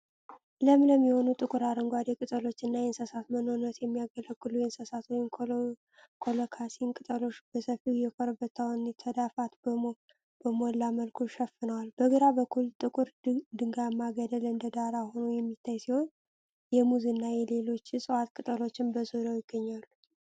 ለምለም የሆኑ ጥቁር አረንጓዴ ቅጠሎችና የእንስሳት መኖነት የሚያገለግሉ የእንሰት (ኮሎካሲያ) ቅጠሎች በሰፊው የኮረብታውን ተዳፋት በሞላ መልኩ ሸፍነዋል። በግራ በኩል ጥቁር ድንጋያማ ገደል እንደ ዳራ ሆኖ የሚታይ ሲሆን፣ የሙዝ እና የሌሎች እፅዋት ቅጠሎችም በዙሪያው ይገኛሉ።